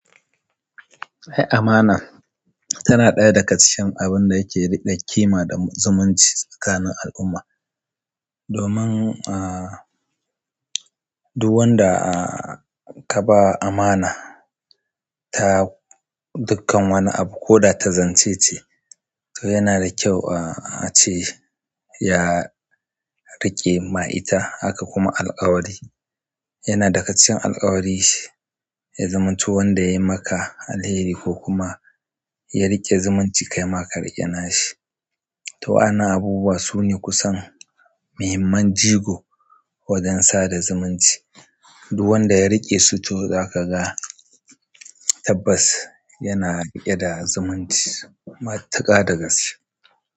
Ai amana tana ɗaya daga cikin abun da yake riƙe ƙima da zumunci tsakanin al'umma. Domin ah duk wanda ka ba amana dukkan wani abu ko da ta zance ce, to yana da kyau a, a ce ya riƙe ma ita haka kuma alƙawari. Yana daga cikin alƙawari shi ya zamanto wanda yayi maka alheri ko kuma ya riƙe zumunci kaima ka riƙe na shi. To wayanan abubuwa sune kusan muhimman jigo wajen sa da zumunci. Duk wanda ya riƙe su to zaka ga tabbas yana riƙe da zumunci matuƙa da gas.